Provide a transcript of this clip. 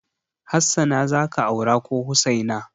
Hassana za ka aura ko Hussaina?